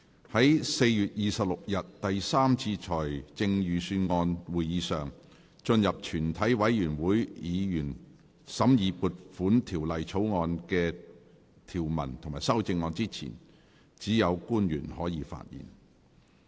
在4月26日第三次財政預算案會議上，進入全體委員會審議撥款條例草案的條文及修正案之前，只有官員可以發言。